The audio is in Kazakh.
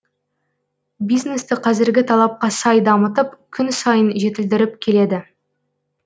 бизнесті қазіргі талапқа сай дамытып күн сайын жетілдіріп келеді